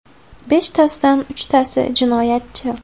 Beshtasidan uchtasi jinoyatchi.